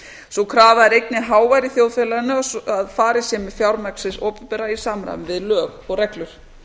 sú krafa er einnig hávær í þjóðfélaginu að farið sé með fjármagn hins opinbera í samræmi við lög og reglur